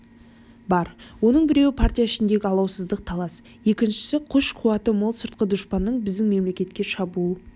бар оның біреуі партия ішіндегі алауыздық талас екіншісі күш-қуаты мол сыртқы дұшпанның біздің мемлекетке шабуыл